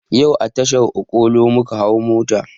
Yau a tashar okolo muka hau mota